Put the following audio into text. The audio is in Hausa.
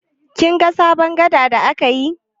Kin ga sabon gada da aka yi?